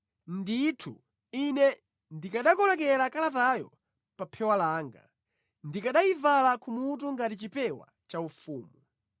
Ndithu ine ndikanakoleka kalatayo pa phewa langa, ndikanayivala kumutu ngati chipewa chaufumu.